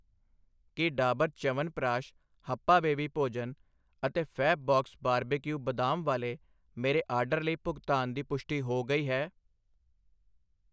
ਕੀ ਡਾਬਰ ਚਯਵਨਪ੍ਰਕਾਸ਼, ਹੱਪਾ ਬੇਬੀ ਭੋਜਨ ਅਤੇ ਫੈਬਬਾਕਸ ਬਾਰਬੇਕਿਊ ਬਦਾਮ ਵਾਲੇ ਮੇਰੇ ਆਰਡਰ ਲਈ ਭੁਗਤਾਨ ਦੀ ਪੁਸ਼ਟੀ ਹੋ ਗਈ ਹੈ?